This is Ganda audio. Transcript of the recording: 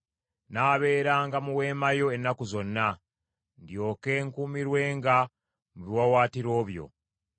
Nnaabeeranga mu weema yo ennaku zonna; ndyoke nkuumirwenga mu biwaawaatiro byo.